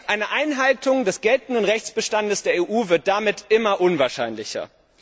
Eine Einhaltung des geltenden Rechtsbestands der EU wird damit immer unwahrscheinlicher.